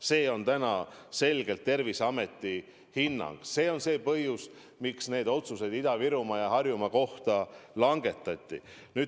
See on selge Terviseameti hinnang ja see on põhjus, miks need otsused Ida-Virumaa ja Harjumaa kohta langetati.